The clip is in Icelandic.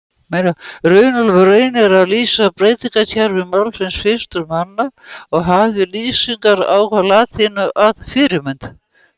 Runólfur reynir að lýsa beygingarkerfi málsins fyrstur manna og hafði lýsingar á latínu að fyrirmynd.